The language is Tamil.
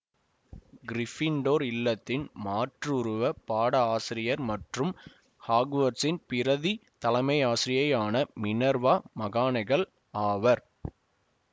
கிறிபிண்டோர் இல்லத்தின் மாற்றுருவ பாட ஆசிரியர் மற்றும் ஹாக்வாட்சின் பிரதி தலைமையாசிரியையான மினெர்வா மகானெகல் ஆவார்